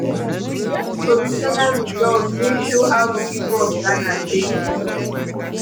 we get provisional results wey show how di pipo of ghana take vote